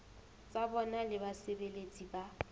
tsa bona le basebeletsi ba